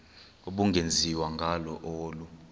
ubungenziwa ngalo olu